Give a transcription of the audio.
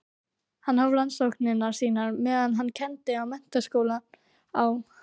Hann hóf rannsóknir sínar meðan hann kenndi við Menntaskólann á